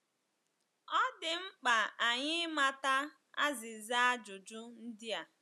Ọ dị mkpa anyị ịmata azịza ajụjụ ndị a.